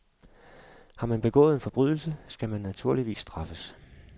Har man begået en forbrydelse, skal man naturligvis straffes.